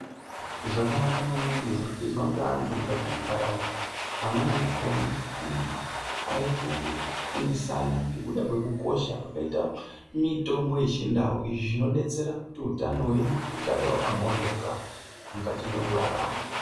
Zvakanaka maningi zvirikuizwa ngeantu mukati mwenharaunda. Amweni akona antu arikufundisana ngekuda kwekukosha kwakaita mitombo yechindau. Izvi zvinobetsera kuti utano hwedu hugare hwakamwoyoka mukati mwekurarama.